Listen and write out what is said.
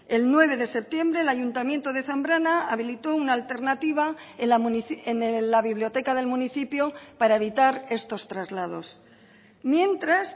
el nueve de septiembre el ayuntamiento de zambrana habilitó una alternativa en la biblioteca del municipio para evitar estos traslados mientras